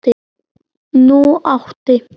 Nú átti